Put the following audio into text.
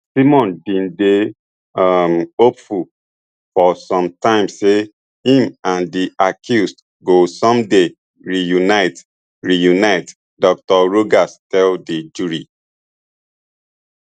simon bin dey um hopeful for some time say im and di accused go someday reunite reunite dr rogers tell di jury